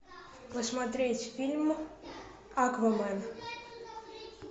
посмотреть фильм аквамен